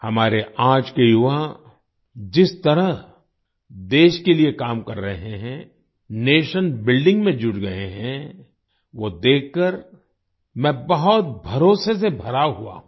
हमारे आज के युवा जिस तरह देश के लिए काम कर रहे हैं नेशन बिल्डिंग में जुट गए हैं वो देखकर मैं बहुत भरोसे से भरा हुआ हूँ